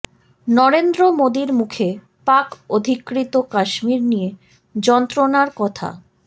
নরেন্দ্র মোদির মুখে পাক অধিকৃত কাশ্মীর নিয়ে যন্ত্রণার কথা